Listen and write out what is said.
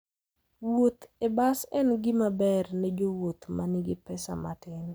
Wuoth e bas en gima ber ne jowuoth ma nigi pesa matin.